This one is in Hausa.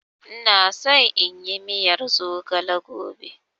Ina so inyi miyar zogale gobe.